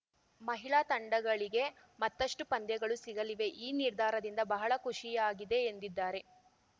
ಮಹಿಳಾ ತಂಡಗಳಿಗೆ ಮತ್ತಷ್ಟುಪಂದ್ಯಗಳು ಸಿಗಲಿವೆ ಈ ನಿರ್ಧಾರದಿಂದ ಬಹಳ ಖುಷಿಯಾಗಿದೆ ಎಂದಿದ್ದಾರೆ